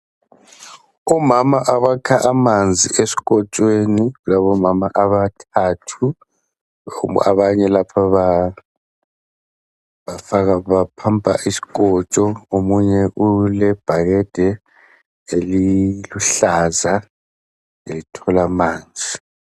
Omama abakha amanzi esikotshweni labomama abathathu abanye lapha bapumper isikotsho . Omunye ulebhakede eliluhlaza ethola amanzi.